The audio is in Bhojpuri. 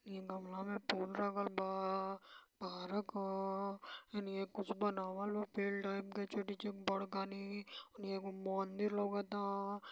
हेनिया गमला में फूल लागल बा पारक ह हेनिया कुछ बनावल बा फील्ड ओएम छोटी चूक बरका नी हेनिया एगो मंदिर लउकता --